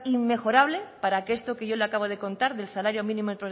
inmejorable para que esto que yo le acabo de contar del salario mínimo